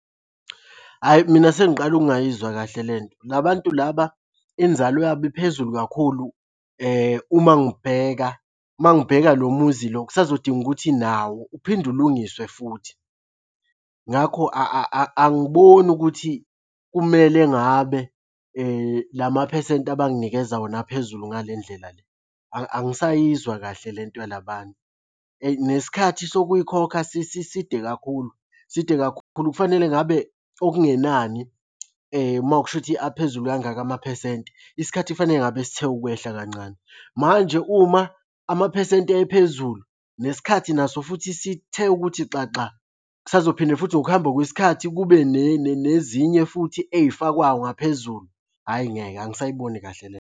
Hhayi mina sengiqala ukungayizwa kahle le nto, la bantu laba inzalo yabo iphezulu kakhulu uma ngibheka, uma ngibheka lo muzi lo kusazodinga ukuthi nawo uphinde ulungiswe futhi. Ngakho angiboni ukuthi kumele ngabe la maphesenti abanginikeza wona aphezulu ngale ndlela le, angisayizwa kahle le nto yala bantu. Nesikhathi sokuyikhokha side kakhulu. Side kakhulu kufanele ngabe okungenani uma kusho ukuthi aphezulu kangaka amaphesenti, isikhathi kufanele ngabe sithe ukwehla kancane, manje uma amaphesenti ephezulu, nesikhathi naso futhi sithe ukuthi xaxa, kusazophinde futhi ngokuhamba kwesikhathi kube nezinye futhi ey'fakwayo ngaphezulu. Hhayi ngeke angisayiboni kahle le.